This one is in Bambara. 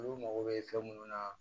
Olu mago bɛ fɛn munnu na